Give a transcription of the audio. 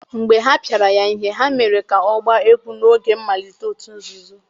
mgbe ha pịara ya ihe, ha mere ka ọ gbaa egwú n'oge mmalite òtù nzuzo.